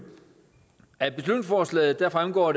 af beslutningsforslaget fremgår